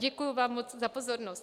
Děkuji vám moc za pozornost.